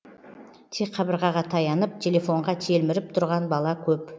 тек қабырғаға таянып телефонға телміріп тұрған бала көп